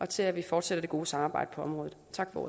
til at vi fortsætter det gode samarbejde på området